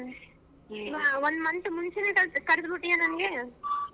ಒಂದ್ month ಮುಂಚೆನೆ ಕರದಬಿಟ್ಟಿದೀಯ ನನಗೆ.